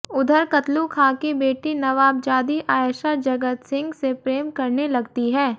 उधर कतलु खां की बेटी नवाबजादी आयेशा जगत सिंह से प्रेम करने लगती है